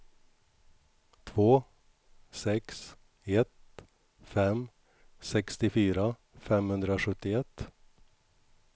två sex ett fem sextiofyra femhundrasjuttioett